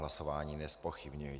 Hlasování nezpochybňuji.